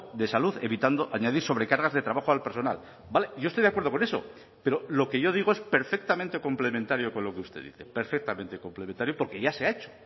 de salud evitando añadir sobrecargas de trabajo al personal vale yo estoy de acuerdo con eso pero lo que yo digo es perfectamente complementario con lo que usted dice perfectamente complementario porque ya se ha hecho